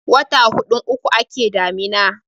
wata hudun uku ake damina